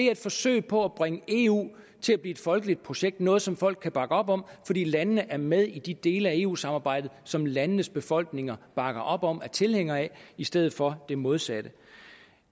er et forsøg på at bringe eu til at blive et folkeligt projekt noget som folk kan bakke op om fordi landene er med i de dele af eu samarbejdet som landenes befolkninger bakker op om og er tilhængere af i stedet for det modsatte